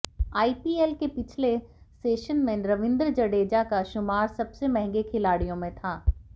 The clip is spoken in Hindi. आईपीएल के पिछले सेशन में रवींद्र जडेजा का शुमार सबसे महंगे खिलाड़ियों में था